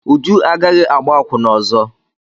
Uju agaghị agbá akwụna ọzọ.